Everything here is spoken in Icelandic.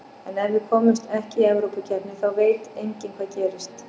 En ef við komumst ekki í Evrópukeppni þá veit enginn hvað gerist.